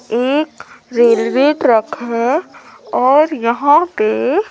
एक railway track है और यहां पे--